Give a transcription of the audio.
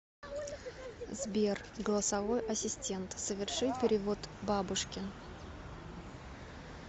сбер голосовой ассистент соверши перевод бабушке